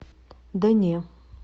да не